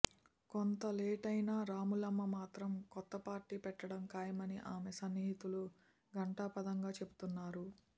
కొంత లేటైనా రాములమ్మ మాత్రం కొత్త పార్టీ పెట్టడం ఖాయమని ఆమె సన్నిహితులు ఘంటాపథంగా చెబుతున్నారు